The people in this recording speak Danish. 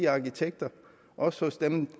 arkitekterne også hos dem